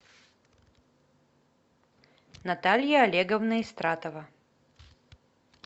наталья олеговна истратова